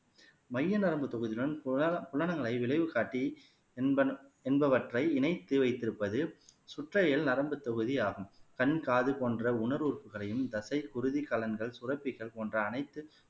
மைய நரம்பு தொகுதியுடன் புலன புலனங்களை விளைவு காட்டி என்பன என்பவற்றை இணைத்து வைத்திருப்பது சுற்றையல் நரம்புத் தொகுதி ஆகும் கண் காது போன்ற உணர்வு உறுப்புகளையும் தசை குருதிக் கலன்கள் சுரப்பிகள் போன்ற அனைத்து